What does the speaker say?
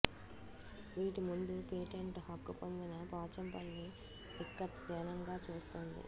వీటి ముందు పేటెంట్ హక్కు పొందిన పోచంపల్లి ఇక్కత్ దీనంగా చూస్తోంది